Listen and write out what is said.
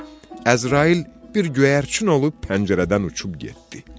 Əzrail bir göyərçin olub pəncərədən uçub getdi.